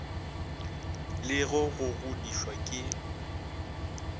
le go go godišwa ke